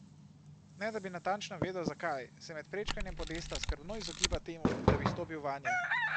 Ne da bi natančno vedel, zakaj, se med prečkanjem podesta skrbno izogiba temu, da bi stopil vanje.